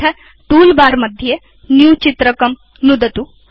अथ टूलबार मध्ये न्यू चित्रकं नुदतु